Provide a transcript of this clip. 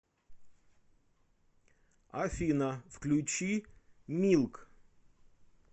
афина включи милк